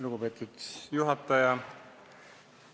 Lugupeetud juhataja!